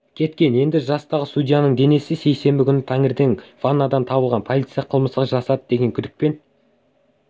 кеткен еді жастағы судьяның денесі сейсенбі күні таңертең ваннадан табылған полиция қылмысты жасады деген күдікпен